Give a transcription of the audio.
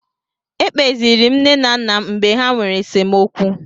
Ekpeziiri m nne m na nna m mgbe ha nwere esemokwu.